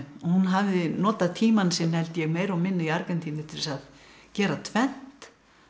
hún hafði notað tímann sinn meira og minna í Argentínu til þess að gera tvennt